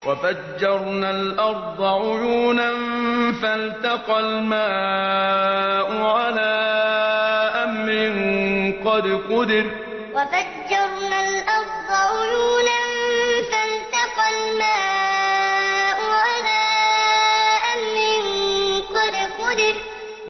وَفَجَّرْنَا الْأَرْضَ عُيُونًا فَالْتَقَى الْمَاءُ عَلَىٰ أَمْرٍ قَدْ قُدِرَ وَفَجَّرْنَا الْأَرْضَ عُيُونًا فَالْتَقَى الْمَاءُ عَلَىٰ أَمْرٍ قَدْ قُدِرَ